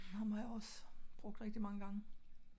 Ham har jeg også brugt rigtig mange gange